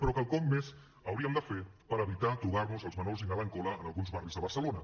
però quelcom més hauríem de fer per evitar trobar nos els menors inhalant cola en alguns barris de barcelona